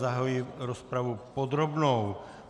Zahajuji rozpravu podrobnou.